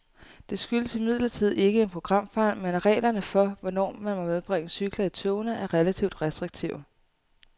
Det skyldes imidlertid ikke en programfejl, men at reglerne for, hvornår man må medbringe cykler i togene er relativt restriktive.